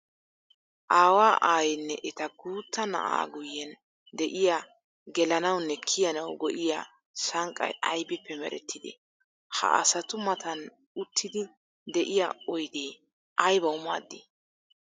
Aawa, aayenne etta guuta na'aa guyen de'iyaa gelanawunne kiyanawu go'iyaa sanqqay aybbippe merettide? Ha asatu matan uttiddi de'iyaa oydde aybbawu maadi?